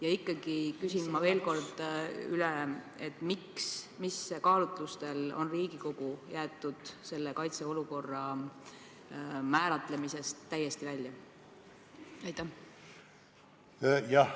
Ja ikkagi küsin veel kord üle, miks, mis kaalutlustel on Riigikogu jäetud kaitseolukorra määratlemisest täiesti välja.